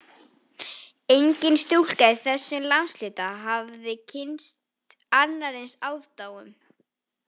Engin stúlka í þessum landshluta hafði kynnst annarri eins aðdáun